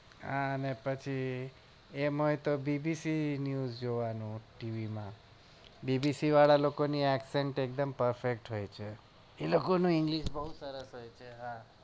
આને પછી એમ હોય તો પછી BBC NEWS જોવાનું ટીવીમાં BBC વાળા લોકો ની excet એકદમ perfect હોય છે એ લોકો નું english બહુ સરસ હોય છે yaar